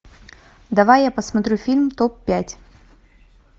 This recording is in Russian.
давай я посмотрю фильм топ пять